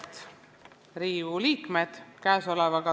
Head Riigikogu liikmed!